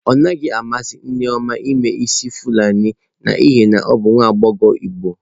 Ọ naghị amasị Nneoma ime isi fulani n'ihi na ọ bụ nwa agbọghọ igbo.